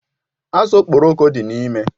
Azụ Okporoko dị n'ime.